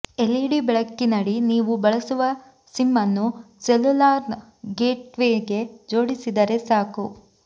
LED ಬೆಳಕಿನಡಿ ನೀವು ಬಳಸುವ ಸಿಮ್ಮನ್ನು ಸೆಲ್ಯುಲಾರ್ನ ಗೇಟ್ವೇಗೆ ಜೋಡಿಸಿದರೆ ಸಾಕು